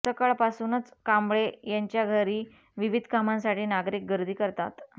सकाळपासूनच कांबळे यांच्या घरी विविध कामांसाठी नागरिक गर्दी करतात